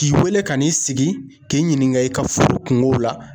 K'i wele ka n'i sigi k'i ɲininka i ka furu kungo la.